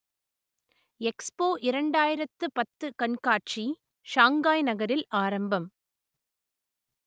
expo இரண்டாயிரத்து பத்து கண்காட்சி ஷாங்காய் நகரில் ஆரம்பம்